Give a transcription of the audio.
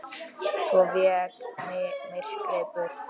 Svo vék myrkrið burt.